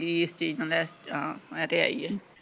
ਕਿ ਇਸ ਚੀਜ਼ ਨਾਲ ਇਸਤਰਾਂ ਆਹ ਤੇ ਹੈਹੀ ਹੈ।